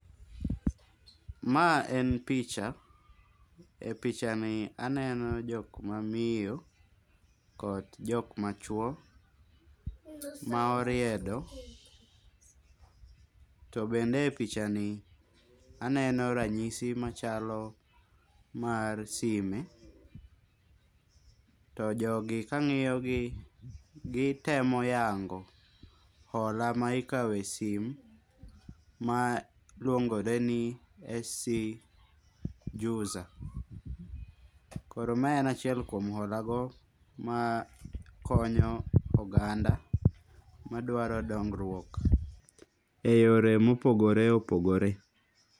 Ma en picha. E pichani aneno jok ma miyo, kod jok ma chwo ma oriedo. To bende e pichani aneno ranyisi machalo mar sime. To jogi ka angiyogi kitemo yango hola ma ikawo e sim ma luongore ni SC Juza. Koro ma en achiel kuom hola go, ma konyo oganda madwaro dongruok, e yore mopogore opogore.